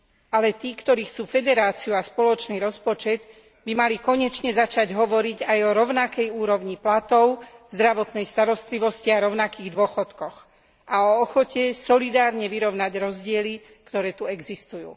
Ale tí, ktorí chcú federáciu a spoločný rozpočet, by mali konečne začať hovoriť aj o rovnakej úrovni platov, zdravotnej starostlivosti a rovnakých dôchodkoch a o ochote solidárne vyrovnať rozdiely, ktoré tu existujú.